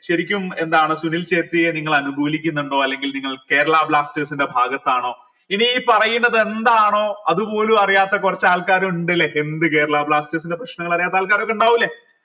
ശരിക്കും എന്താണ് സുനിൽ ഛേത്രിയെ നിങ്ങൾ അനുകൂലിക്കുന്നുണ്ടോ അല്ലെങ്കിൽ നിങ്ങൾ കേരള ബ്ലാസ്റ്റേഴ്സിന്റെ ഭാഗത്താണോ ഇനി ഈ പറയുന്നത് എന്താണോ അതുപോലും അറിയാത്ത കുറച്ച് ആൾക്കാർ ഉണ്ട് ല്ലെ എന്ത് കേരള ബ്ലാസ്റ്റേഴ്സിൻ്റെ പ്രശ്നങ്ങൾ അറിയാത്ത ആൾക്കാരൊക്കെ ഇണ്ടാവൂലെ